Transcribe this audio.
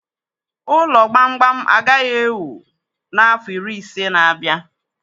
Ụlọ gbamgbam agaghị e wuu n'afọ iri ise n'abia.